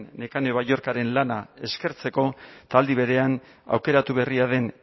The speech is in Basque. nekane balluerkaren lana eskertzeko eta aldi berean aukeratu berria den